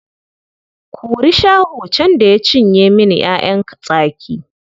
Kuri Shaho can da ya cinye min ‘ya’yan tsaki.